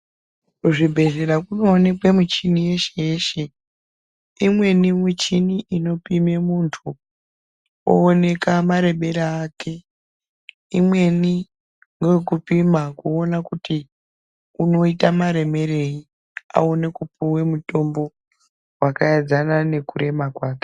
Kuzvibhedhleya kunooneka michini yeshe yeshe, imweni michini inopime muntu ooneka marebere ake, imweni ngeyekupima kuona kuti unoita maremerei aone kupuwe mutombo wakaedzana nekurema kwake.